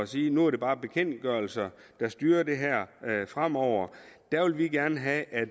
sige at nu er det bare bekendtgørelser der styrer det her fremover der vil vi gerne have at